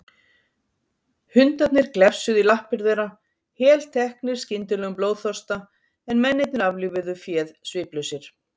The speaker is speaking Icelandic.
Hundarnir glefsuðu í lappir þeirra, helteknir skyndilegum blóðþorsta, en mennirnir aflífuðu féð sviplausir.